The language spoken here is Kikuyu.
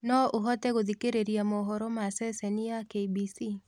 no ũhote gutthakira mohoro ma sesheni ya K.B.C